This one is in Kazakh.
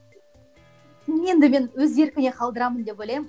енді мен өз еркіне қалдырамын деп ойлаймын